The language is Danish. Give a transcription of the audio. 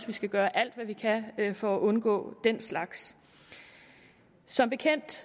vi skal gøre alt hvad vi kan for at undgå den slags som bekendt